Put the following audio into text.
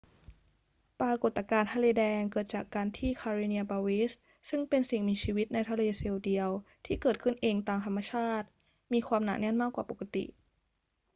ปรากฏการณ์ทะเลแดงเกิดจากการที่ karenia brevis ซึ่งเป็นสิ่งมีชีวิตในทะเลเซลล์เดียวที่เกิดขึ้นเองตามธรรมชาติมีความหนาแน่นมากกว่าปกติ